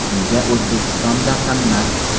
Nega O‘zbekistonda qimmat?.